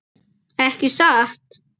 Ekki satt?